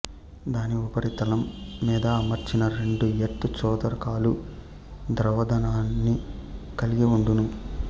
దాని ఉపరితలం మీద అమర్చిన రెండు ఎర్త్ చోదకాలు ద్రవ ధనాన్ని కల్గి వుండును